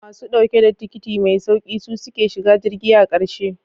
Masu dauke da tikiti mai sauki su suke shiga jirgi a karshe.